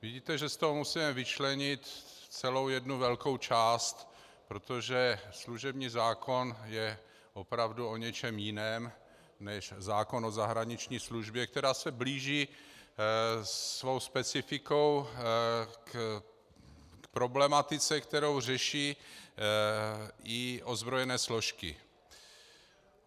Vidíte, že z toho musíme vyčlenit celou jednu velkou část, protože služební zákon je opravdu o něčem jiném než zákon o zahraniční službě, která se blíží svou specifikou k problematice, kterou řeší i ozbrojené složky.